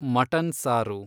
mutton ಸಾರು